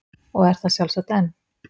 Og er það sjálfsagt enn.